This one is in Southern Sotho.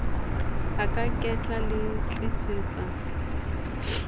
a ka ketla le tlisetsa